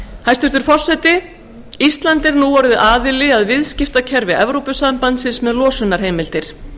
hæstvirtur forseti ísland er nú orðið aðili að viðskiptakerfi evrópusambandsins með losunarheimildir